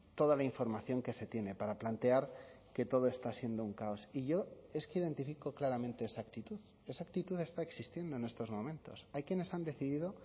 toda la información que se tiene para plantear que todo está siendo un caos y yo es que identifico claramente esa actitud esa actitud está existiendo en estos momentos hay quienes han decidido